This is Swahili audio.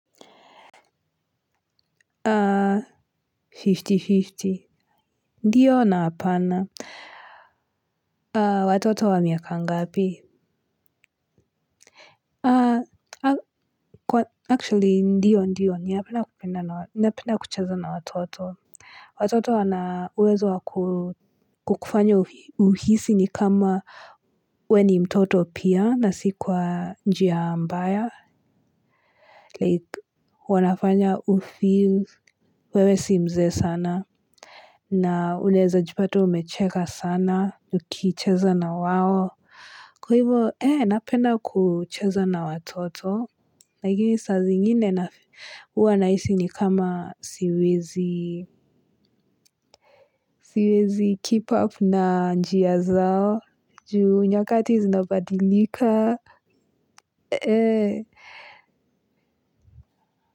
Fifty fifty ndiyo na hapana watoto wa miaka ngapi actually ndiyo ndiyo napenda kucheza na watoto watoto wana uwezo wa kukufanya uhisi ni kama we ni mtoto pia na si kwa njia mbaya like wanafanya ufeel wewe si mzee sana. Na unaeza jipata umecheka sana, ukicheza na wao. Kwa hivo, eeh, napenda kucheza na watoto. Lakini saa zingine huwa nahisi ni kama siwezi, siwezi keep up na njia zao, juu nyakati zinabadilika.